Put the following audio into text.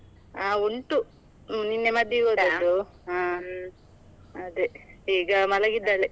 ಹ ಉಂಟು ನಿನ್ನೆ ಮದ್ದಿಗ್ . ಅದೇ ಈಗ ಮಲಗಿದ್ದಾಳೆ.